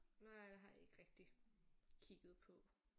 Nej det har jeg ikke rigtig kigget på